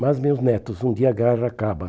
Mas, meus netos, um dia a guerra acaba.